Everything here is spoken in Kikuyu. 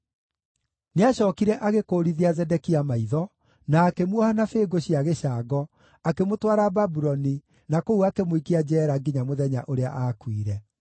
Nĩacookire agĩkũũrithia Zedekia maitho, na akĩmuoha na bĩngũ cia gĩcango, akĩmũtwara Babuloni, na kũu akĩmũikia njeera nginya mũthenya ũrĩa aakuire.